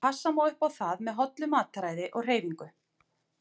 Passa má upp á það með hollu mataræði og hreyfingu.